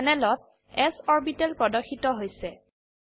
প্যানেলত s orbital প্ৰদৰ্শিত হৈছে